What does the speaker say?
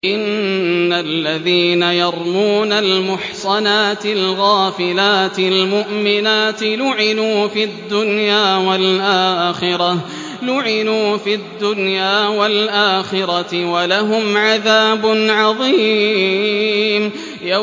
إِنَّ الَّذِينَ يَرْمُونَ الْمُحْصَنَاتِ الْغَافِلَاتِ الْمُؤْمِنَاتِ لُعِنُوا فِي الدُّنْيَا وَالْآخِرَةِ وَلَهُمْ عَذَابٌ عَظِيمٌ